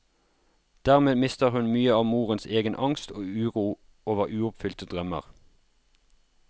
Dermed mister hun mye av morens egen angst og uro over uoppfylte drømmer.